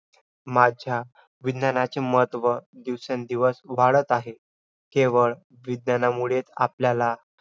माझ्या विज्ञानाचे महत्त्व दिवसेंदिवस वाढत आहे. केवळ विज्ञानामुळेच आपल्याला